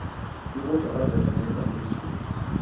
e botlhokwa tota mo tsamaisong